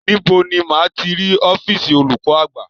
Níbo ni máa ti rí ọ́fììsì olùkọ́ àgbà?